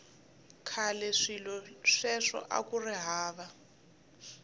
khale swilo sweswo akuri hava